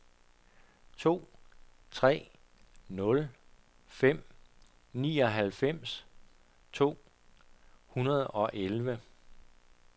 to tre nul fem nioghalvfems to hundrede og elleve